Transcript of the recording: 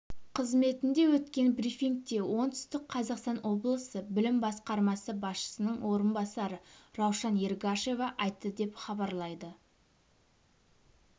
қызметінде өткен брифингте оңтүстік қазақстан облысы білім басқармасы басшысының орынбасары раушан ергашева айтты деп хабарлайды